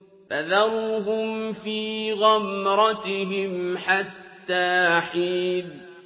فَذَرْهُمْ فِي غَمْرَتِهِمْ حَتَّىٰ حِينٍ